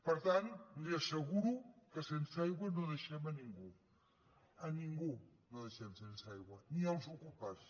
per tant li asseguro que sense aigua no deixem a ningú a ningú no deixem sense aigua ni els ocupes